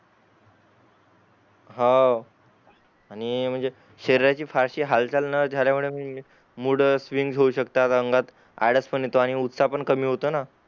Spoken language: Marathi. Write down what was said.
हां आणि म्हणजे शरीराची फारशी हालचाल न जाल्या मुळे मूड स्विंग होऊ शकतात अंगात आळसपण येत उत्साह पण कमी होतो ना